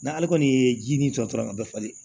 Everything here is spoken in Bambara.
N'ale kɔni ye ji nin tɔ la ka bɛɛ falen